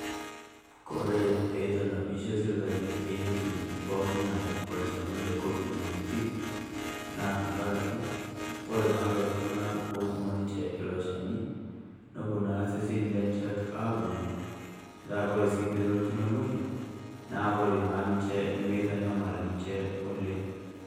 Koree pee eitanapishe sirkali peyie etum pooki ng'ae olchani le COVID-19. Naa tang'araki kore naa lolo itung'anak otumo ninchee elo ilchani noboo na seseni lencheek ang'oluu. Petaa kore sii tenolutuu enia moyian naa kore naa ninchee nemeitanyamal ninchee oleng.